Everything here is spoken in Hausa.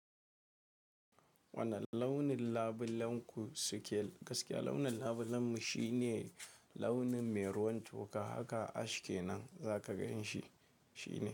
Wani launin labulan ku suke, gaskiya launin labulanmu shine launin me ruwan toka haka ash kenan za ka ganshi shi ne.